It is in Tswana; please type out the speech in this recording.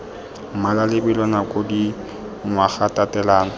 mmala lebelo nako dingwaga tatelano